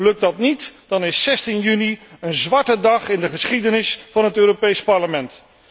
Lukt dat niet, dan is 16 juni een zwarte dag in de geschiedenis van het Europees Parlement.